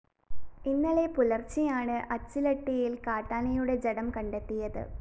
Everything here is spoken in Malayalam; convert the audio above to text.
ഇന്നലെ പുലര്‍ച്ചെയാണ് അച്ചിലട്ടിയില്‍ കാട്ടാനയുടെ ജഡം കണ്ടെത്തിയത്